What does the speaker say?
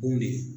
Kun de ye